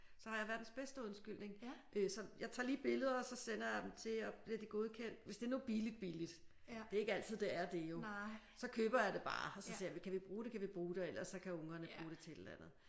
Så har jeg verdens bedste undskyldning øh så jeg tager lige billeder og så sender jeg dem til og bliver de godkendt hvis det er nu billigt billigt det er ikke altid det er det jo så køber jeg det bare og så ser jeg kan vi bruge det kan vi bruge og ellers så kan ungerne bruge det til et eller andet